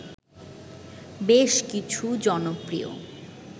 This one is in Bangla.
বেশ কিছু জনপ্রিয়